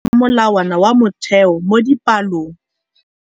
Baithuti ba ithuta ka molawana wa motheo mo dipalong.